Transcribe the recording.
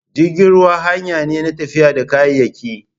Jirgin ruwa hanyane na tafiya da kayayyaki